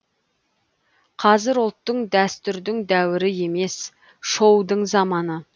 қазір ұлттың дәстүрдің дәуірі емес шоудың заманы